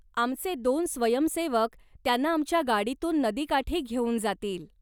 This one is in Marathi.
आमचे दोन स्वयंसेवक त्यांना आमच्या गाडीतून नदीकाठी घेऊन जातील.